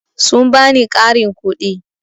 Sun ba ni ƙarin kuɗi.